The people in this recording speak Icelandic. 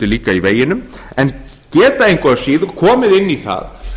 líka í veginum en geta engu að síður komið inn í það